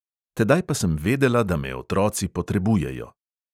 Tedaj pa sem vedela, da me otroci potrebujejo.